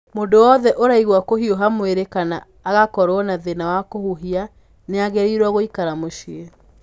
Mũndũ o wothe ũraigua kũhiũha mwĩrĩ kana agakorũo na thĩna wa kũhuhia, nĩ agĩrĩirũo gũikara mũciĩ.